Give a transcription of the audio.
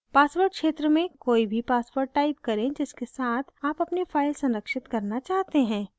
password क्षेत्र में कोई भी password type करें जिसके साथ आप अपनी file संरक्षित करना चाहते हैं